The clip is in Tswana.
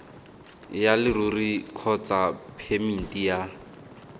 ya leruri kgotsa phemiti ya